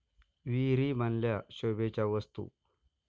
विहिरी बनल्या शोभेच्या वस्तू!